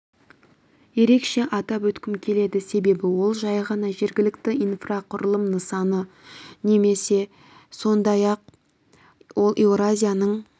ерекше атап өткім келеді себебі ол жай ғана жергілікті инфрақұрылым нысаны емес сондай-ақ ол еуразияның